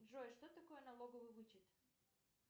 джой что такое налоговый вычет